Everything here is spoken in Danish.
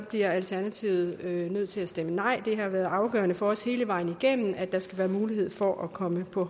bliver alternativet nødt til at stemme nej det har været afgørende for os hele vejen igennem at der skal være en mulighed for at komme på